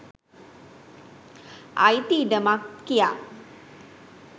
අයිති ඉඩමක් කියා